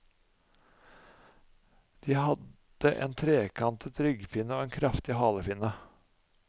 De hadde en trekantet ryggfinne og en kraftig halefinne.